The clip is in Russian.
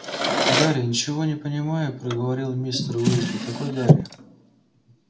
гарри ничего не понимая проговорил мистер уизли какой гарри